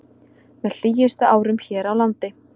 Með hlýjustu árum hér á landi